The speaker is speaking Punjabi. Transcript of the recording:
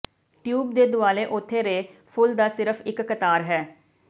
ਟਿਊਬ ਦੇ ਦੁਆਲੇ ਉਥੇ ਰੇ ਫੁੱਲ ਦਾ ਸਿਰਫ਼ ਇੱਕ ਕਤਾਰ ਹੈ